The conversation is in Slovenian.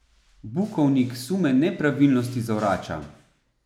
Bukovnik sume nepravilnosti zavrača.